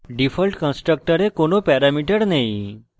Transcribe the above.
default constructor কোন parameter নেই